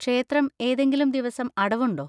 ക്ഷേത്രം ഏതെങ്കിലും ദിവസം അടവുണ്ടോ?